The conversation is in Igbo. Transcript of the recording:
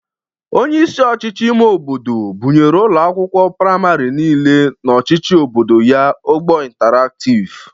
Onyeisi ọchịchị ime obodo bụnyere ụlọ akwụkwụ prịmarị niile n'ọchịchị obodo ya ụgbọ intaraktiv.